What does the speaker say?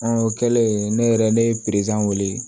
o kɛlen ne yɛrɛ ne ye wele